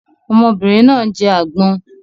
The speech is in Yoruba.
Ọmọbìnrin náà ń jẹ agbon